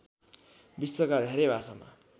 विश्वका धेरै भाषामा